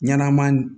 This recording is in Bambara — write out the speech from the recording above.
Ɲanama